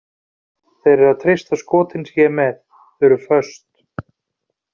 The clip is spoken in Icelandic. Þeir eru að treysta á skotin sem ég er með, þau er föst.